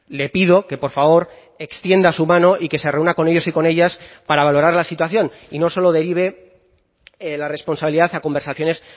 le pido que por favor extienda su mano y que se reúna con ellos y con ellas para valorar la situación y no solo derive la responsabilidad a conversaciones